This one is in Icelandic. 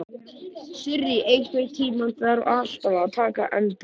Sirrý, einhvern tímann þarf allt að taka enda.